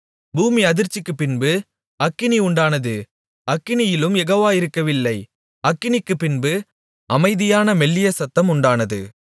பூமி அதிர்ச்சிக்குப் பின்பு அக்கினி உண்டானது அக்கினியிலும் யெகோவா இருக்கவில்லை அக்கினிக்குப்பின்பு அமைதியான மெல்லிய சத்தம் உண்டானது